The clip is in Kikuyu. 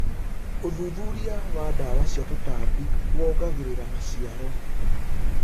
ũthuthuria wa ndawa cia tũtambi wongagĩrira maciaro.